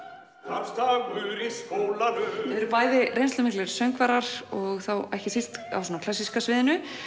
starfsdagur í skólanum þið eruð bæði reynslumiklir söngvarar og ekki síst á klassíska sviðinu